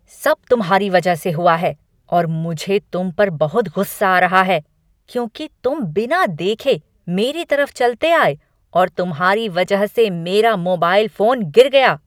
सब तुम्हारी वजह से हुआ है और मुझे तुम पर बहुत गुस्सा आ रहा है, क्योंकि तुम बिना देखे मेरी तरफ चलते आए और तुम्हारी वजह से मेरा मोबाइल फोन गिर गया।